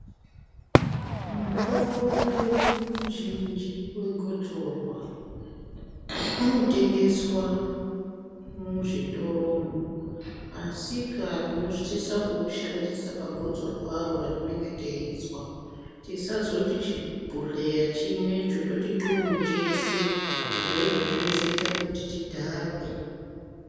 Mutombo wedu muzhinji wegotsorwa unotengeswa muzvitoro asika tinosisa kuushandisa pagotsorwaro ratinenge teizwa. Tisazoti chibhodhleya chimwecho toti ntluu chese izvozvo zvinozoita kuti tidhakwe.